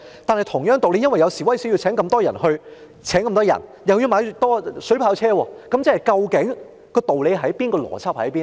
但同樣道理，由於有示威活動，所以要增聘人手，但又要購買水炮車，那麼究竟道理何在、邏輯何在呢？